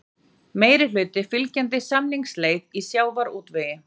Meirihluti fylgjandi samningaleið í sjávarútvegi